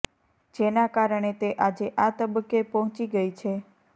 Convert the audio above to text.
જેના કારણે તે આજે આ તબક્કે પહોંચી ગઈ છે